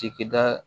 Cikɛda